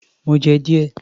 Mo jẹ́ díẹ̀